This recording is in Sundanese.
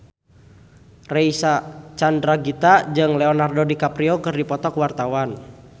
Reysa Chandragitta jeung Leonardo DiCaprio keur dipoto ku wartawan